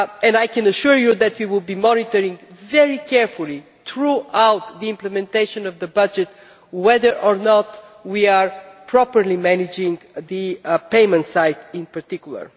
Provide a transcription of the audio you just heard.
I can assure you that we will be monitoring very carefully throughout the implementation of the budget whether or not we are properly managing the payment side in particular.